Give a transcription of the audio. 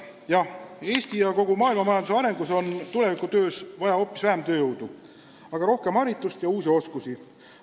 Jah, Eesti ja kogu maailma majanduses on tulevikus vaja hoopis vähem tööjõudu, aga rohkem haritust ja uusi oskusi.